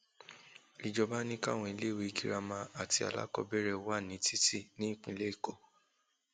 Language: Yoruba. ìjọba ni káwọn iléèwé girama àti alákọọbẹrẹ sí wà ní títì nípínlẹ èkó